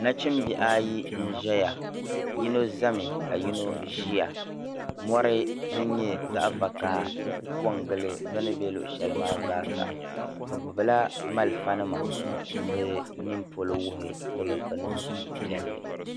Nachimbihi ayi n ʒiya yino zami ka yino ʒiya mɔri din nyɛ zaɣ'vakaha n kuli kɔ gili bɛ ʒi shɛli polo maa zaa bɛ gbubila malifanima ka nini polo wuhi ni bɛ niŋ suhu piɛlli.